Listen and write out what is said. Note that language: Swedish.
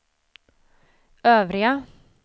övriga